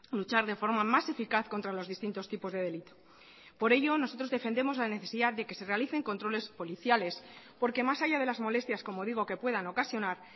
luchar de forma más eficaz contra los distintos tipos de delito por ello nosotros defendemos la necesidad de que se realicen controles policiales porque más allá de las molestias como digo que puedan ocasionar